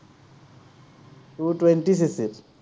CC two twenty